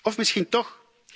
Of misschien toch.